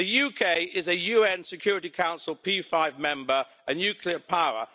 The UK is a UN Security Council P5 member and a nuclear power.